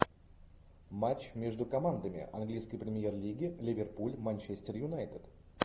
матч между командами английской премьер лиги ливерпуль манчестер юнайтед